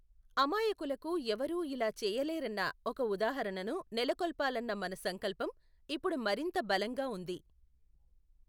అమాయకులకు ఎవరూ ఇలా చేయలేరన్న ఒక ఉదాహరణను నెలకొల్పాలన్న మన సంకల్పం ఇప్పుడు మరింత బలంగా ఉంది.